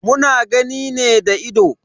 Muna gani ne da ido.